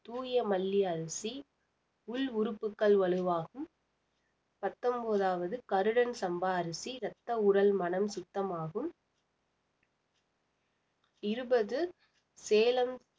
தூய மல்லி அரிசி உள் உறுப்புகள் வலுவாகும் பத்தொன்போதாவது கருடன் சம்பா அரிசி ரத்த உடல் மனம் சுத்தமாகும் இருபது சேலம்